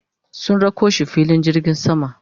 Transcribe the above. sun rako shi filin jirgin sama